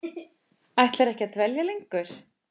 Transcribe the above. Ætlarðu ekki að dvelja lengur?